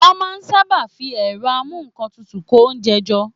Wọ́n máa n sáábà fi ẹ̀rọ amúǹkantutù kó oúnjẹ jọ